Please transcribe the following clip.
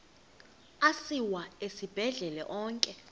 asiwa esibhedlele onke